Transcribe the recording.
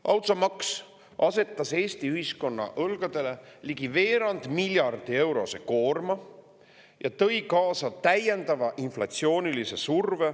Automaks asetas Eesti ühiskonna õlgadele ligi veerand miljardi eurose koorma ja tõi kaasa täiendava inflatsioonisurve.